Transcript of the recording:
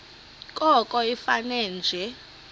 koko ifane nje